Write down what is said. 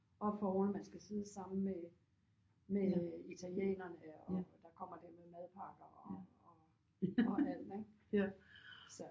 Oppe foroven man skal sidde sammen med med italienerne og der kommer der med madpakker og og alt ik så